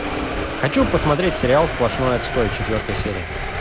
хочу посмотреть сериал сплошной отстой четвертая серия